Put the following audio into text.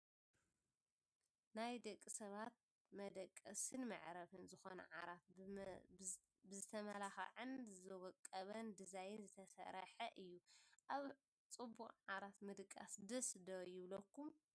ናይ ደቂ ሰባት መደቀስን መዕረፍን ዝኮነ ዓራት ብዝመልከዓን ዝወቀበን ዲዛይን ዝተሰረሓ እዩ። ኣብ ፅቡቅ ዓራት ምድቃስ ደስ ዶ ይብለኩም ?